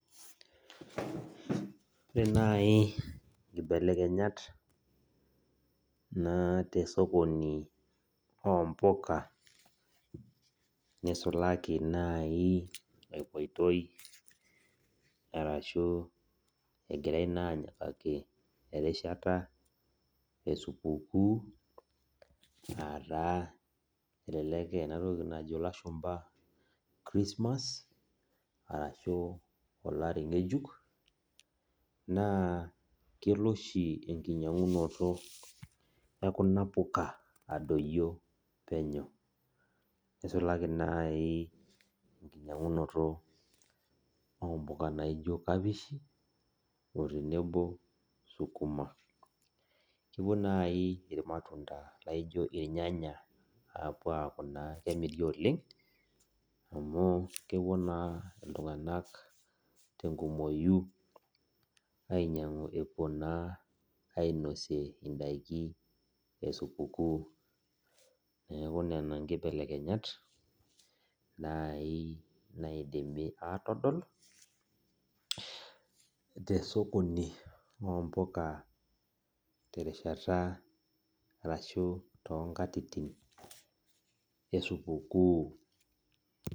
Ore nai nkibelekenyat naa tesokoni ompuka, nisulaki nai epoitoi arashu egirai naa anyikaki erishata esupukuu, ataa elelek enatoki najo ilashumpa Christmas, arashu olari ng'ejuk, naa kelo oshi enkinyang'unoto ekuna puka adoyio penyo. Nisulaki nai enkinyang'unoto ompuka naijo kapishi,o tenebo sukuma. Kepuo nai irmatunda laijo irnyanya apuo aku naa kemiri oleng, amu kepuo naa iltung'anak tenkumoyu ainyang'u epuo naa ainosie idaiki esupukuu. Neeku nena nkibelekenyat, nai naidimi atodol, tesokoni ompuka terishata arashu tonkatitin esupukuu.